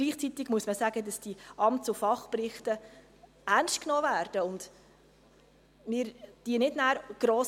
Gleichzeitig muss man sagen, dass die Amts- und Fachberichte ernst genommen werden und wir diese nachher nicht gross …